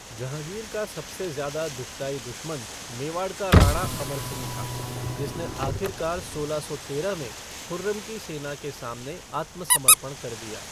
जहांगीर का सबसे ज़्यादा दुःखदायी दुश्मन मेवाड़ का राणा, अमर सिंह था, जिसने आखिरकार सोलह सौ तेरह में खुर्रम की सेना के सामने आत्मसमर्पण कर दिया।